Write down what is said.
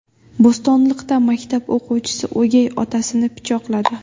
Bo‘stonliqda maktab o‘quvchisi o‘gay otasini pichoqladi.